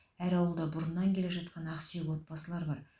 әр ауылда бұрыннан келе жатқан ақсүйек отбасылар бар